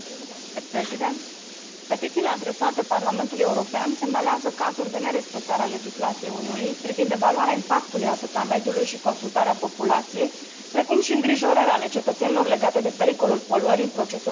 Petițiile adresate Parlamentului European semnalează cazuri de nerespectare a legislației Uniunii privind evaluarea impactului asupra mediului și consultarea populației, precum și îngrijorări ale cetățenilor legate de pericolul poluării în procesul de gestionare a deșeurilor.